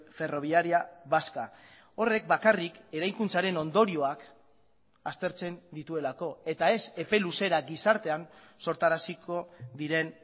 ferroviaria vasca horrek bakarrik eraikuntzaren ondorioak aztertzen dituelako eta ez epe luzera gizartean sortaraziko diren